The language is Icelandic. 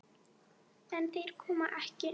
En þeir koma ekki.